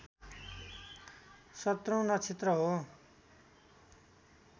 सत्रौँ नक्षत्र हो